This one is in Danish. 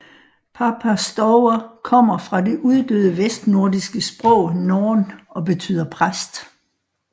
Papa Stour kommer fra det uddøde vestnordiske sprog norn og betyder præst